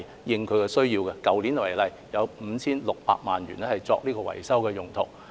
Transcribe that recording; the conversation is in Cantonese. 以去年為例，有 5,600 萬元作維修用途。